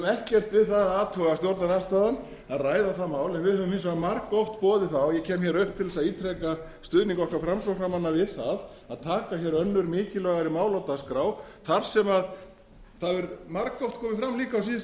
ekkert við það að athuga stjórnarandstaðan að ræða það mál en við höfum hins vegar margoft boðið það og ég kem upp til að ítreka stuðning okkar framsóknarmanna við það að taka önnur mikilvægari mál á dagskrá þar sem líka hefur margoft komið fram á síðustu